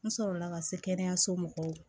N sɔrɔ la ka se kɛnɛyaso mɔgɔw